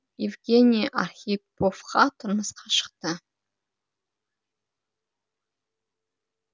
евгений архиповқа тұрмысқа шықты